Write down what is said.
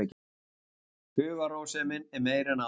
Hugarrósemin er meiri en áður.